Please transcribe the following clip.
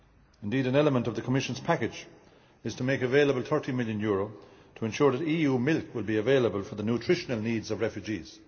Indeed, an element of the Commission's package is to make available EUR 30 million to ensure that EU milk will be available for the nutritional needs of refugees.